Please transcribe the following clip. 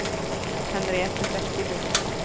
Henriette Bekkelund